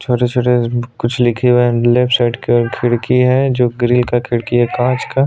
छोटे - छोटे कुछ लिखे हुए है लेफ्ट साइड के खिड़की है जो ग्रिल का खिड़की है कांच का --